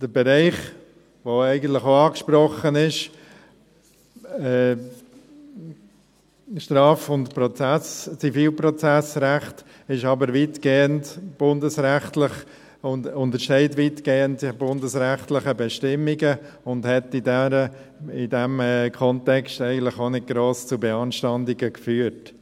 Der Bereich, welcher eigentlich auch angesprochen wird, das Straf- und das Zivilprozessrecht, ist weitgehend bundesrechtlich geregelt, erscheint weitgehend in bundesrechtlichen Bestimmungen und hat in diesem Kontext eigentlich auch nicht gross zu Beanstandungen geführt.